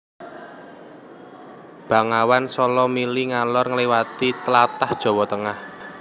Bengawan Sala mili ngalor ngliwati tlatah Jawa Tengah